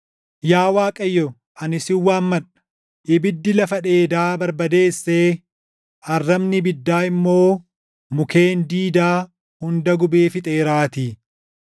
Yaa Waaqayyo ani sin waammadha; ibiddi lafa dheedaa barbadeessee arrabni ibiddaa immoo mukkeen diidaa hunda gubee fixeeraatii.